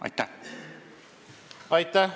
Aitäh!